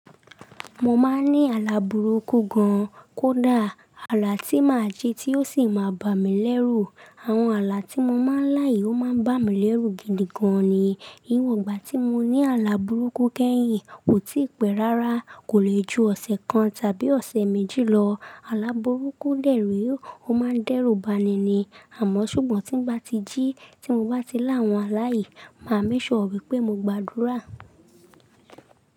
Mo máa ń ní àlà burúkú gan kódà, àlà tí màá jí tí ó sì máa bá mi lẹ́rù. Àwọn àlà tí mo máa ń láyi ó máa ń bá mi lẹ́rù gidi gan ni. Ìwọ gbà tí mo ní àlà burúkú kẹ́yìn, kò tí pẹ́ rárá, kò lè ju ọ̀sẹ̀ kan tàbí ọ̀sẹ̀ méjì lọ. Àlà burúkú lẹ́rù, ó máa ń dẹ́rù bani ni. Àmọ́ ṣùgbọ́n tí ń bá ti jí, tí mo bá ti lá àwọn àlà yìí, màá makesure wípé mo gbàdúrà.